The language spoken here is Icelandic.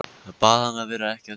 Bað hana að vera ekki að trufla.